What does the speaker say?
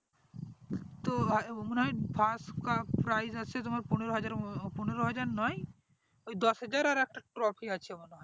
তো মনে হয় first prize আছে মনে হয় পনেরো হাজার মা পনেরো হাজার নয় দশ হাজার আর একটা trophy আছে মনে হয়